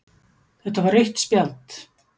Þetta var rautt spjald